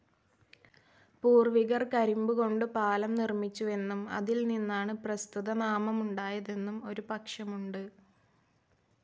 പൂർ‌വികർ കരിമ്പുകൊണ്ട് പാലം നിർമ്മിച്ചുവെന്നും അതിൽനിന്നാണ്‌ പ്രസ്തുതനാമമുണ്ടായതെന്നും ഒരു പക്ഷമുണ്ട്.